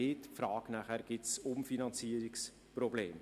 Die Frage nachher: Gibt es Umfinanzierungsprobleme?